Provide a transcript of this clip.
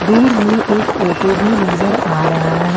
दूर में एक ऑटो भी नजर आ रहा है।